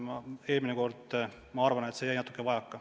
Eelmine kord, ma arvan, jäi sellest natuke vajaka.